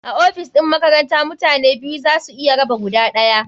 A ofis ɗin makaranta mutane biyu za su iya raba guda ɗaya.